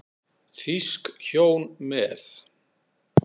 Þýsk hjón með